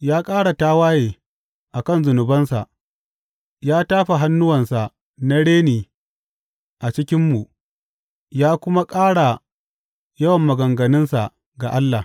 Ya ƙara tawaye a kan zunubansa; ya tafa hannuwansa na reni a cikinmu ya kuma ƙara yawan maganganunsa ga Allah.